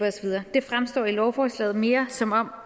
det fremstår i lovforslaget mere som om